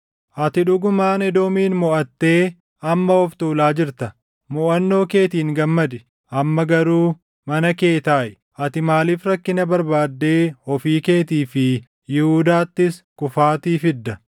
Ati dhugumaan Edoomin moʼattee amma of tuulaa jirta. Moʼannoo keetiin gammadi; amma garuu mana kee taaʼi! Ati maaliif rakkina barbaaddee ofii keetii fi Yihuudaattis kufaatii fidda?”